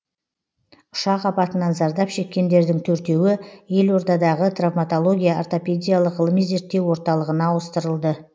ұшақ апатынан зардап шеккендердің төртеуі елордадағы травматология ортопедиялық ғылыми зерттеу орталығына ауыстырылды